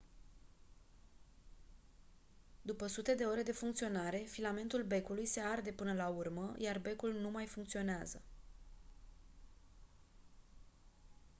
după sute de ore de funcționare filamentul becului se arde până la urmă iar becul nu mai funcționează